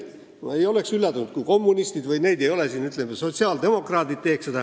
Ma ei oleks üllatunud, kui kommunistid – neid ei ole siin – või sotsiaaldemokraadid seda teeksid.